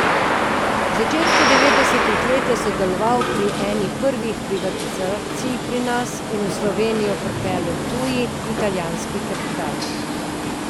V začetku devetdesetih let je sodeloval pri eni prvih privatizacij pri nas in v Slovenijo pripeljal tuji, italijanski kapital.